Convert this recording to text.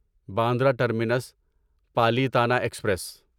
Bandra terminus Palitana express